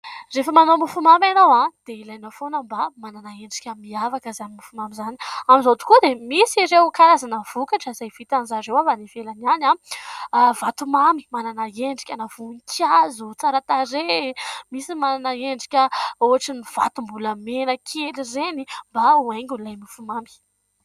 Rehefa manao mofomamy ianao dia ilaina foana mba manana endrika mihavaka izany mofomamy izany, amin'izao tokoa dia misy ireo karazana vokatra izay vitan-dry zareo avy any ivelany any, vatomamy manana endrikana voninkazo, tsara tarehy, misy manana endrika ohatran' ny vatom-bolamena kely ireny mba ho haingo'ilay mofomamy.